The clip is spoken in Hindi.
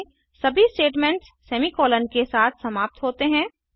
जावा में सभी स्टेटमेंट्स सेमी कॉलन के साथ समाप्त होते हैं